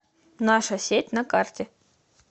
наша сеть на карте